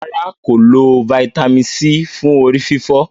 ràrá kò lọ Vitamin c fún orí-fífọ́.